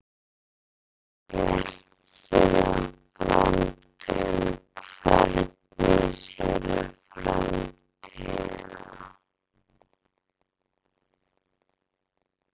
Bjartsýn á framtíðina Hvernig sérðu framtíðina?